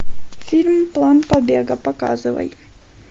фильм план побега показывай